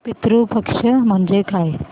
पितृ पक्ष म्हणजे काय